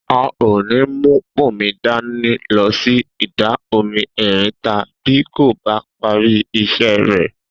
A ò ní mú Bùnmi dání lo̩ sí Ìdà-omi E̩rinta bí kò bá parí is̩é̩ rè̩